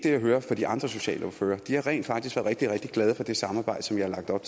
jeg hører fra de andre socialordførere de har rent faktisk rigtig rigtig glade for det samarbejde som jeg har lagt op